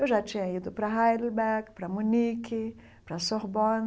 Eu já tinha ido para Heidelberg, para Munique, para Sorbonne,